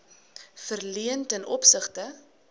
verleen ten opsigte